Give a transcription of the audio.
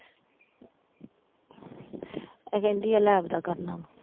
ਇਹ ਕਹਿੰਦੀ ਆ lab ਦਾ ਕਰਨਾ ਵਾ।